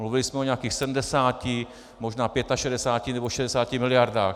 Mluvili jsme o nějakých 70, možná 65 nebo 60 miliardách.